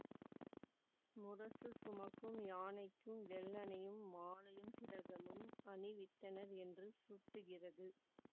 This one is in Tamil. முரசு சுமக்கும் யானைக்கும் வெள்ளணியும் மாலையும் திலகமும் அணிவித்தனர் என்று சுட்டுகிறது